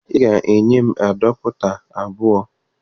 Ị ga-enye m adapụta abụọ!